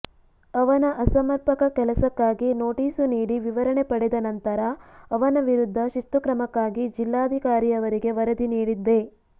ಅವನ ಅಸಮರ್ಪಕ ಕೆಲಸಕ್ಕಾಗಿ ನೋಟೀಸು ನೀಡಿ ವಿವರಣೆ ಪಡೆದ ನಂತರ ಅವನ ವಿರುದ್ಧ ಶಿಸ್ತುಕ್ರಮಕ್ಕಾಗಿ ಜಿಲ್ಲಾಧಿಕಾರಿಯವರಿಗೆ ವರದಿ ನೀಡಿದ್ದೆ